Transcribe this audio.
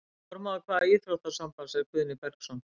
Formaður hvaða íþróttasambands er Guðni Bergsson?